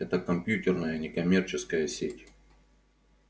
это компьютерная некоммерческая сеть